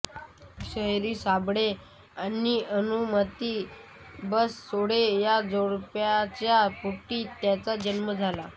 शाहीर साबळे आणि भानुमती बनसोडे या जोडप्याच्या पोटी त्यांचा जन्म झाला